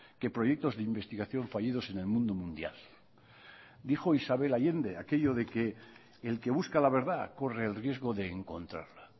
que proyectos de investigación fallidos en el mundo mundial dijo isabel allende aquello de que el que busca la verdad corre el riesgo de encontrarla